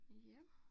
Ja